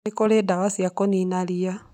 Nĩ kũrĩ na ndawa cia kũniina ria